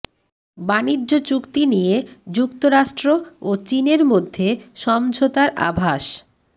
বাণিজ্য চুক্তি নিয়ে যুক্তরাষ্ট্র ও চীনের মধ্যে সমঝোতার আভাস